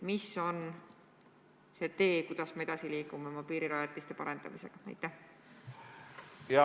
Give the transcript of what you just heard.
Milline on see tee, mida mööda me liigume oma piirirajatiste täiustamisel edasi?